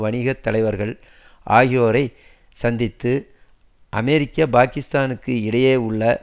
வணிகத்தலைவர்கள் ஆகியோரைச் சந்தித்து அமெரிக்க பாக்கிஸ்தானுக்கு இடையே உள்ள